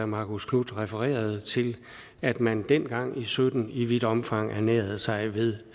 marcus knuth refererede til at man dengang og sytten i vidt omfang ernærede sig ved